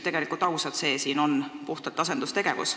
Olgem ausad, see siin on puhtalt asendustegevus.